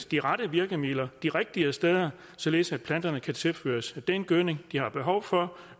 de rette virkemidler kan de rigtige steder således at planterne kan tilføres den gødning de har behov for